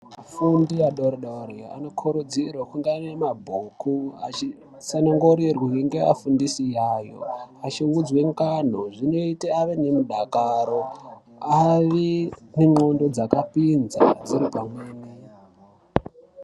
Afundi adori dori ano kurudzirwe kunge aine mabhuku achi tsana ngurirwe nge afundisi ayo achi udzwe ngano zvinoite ave nemudakaro ave ne ndxondo dzaka pinza dziri pamweni.